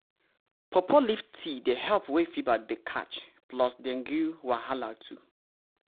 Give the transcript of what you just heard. pawpaw leaf tea dey help wey fever dey catch plus dengue wahala too.